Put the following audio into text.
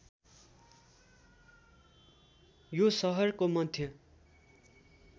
यो सहरको मध्य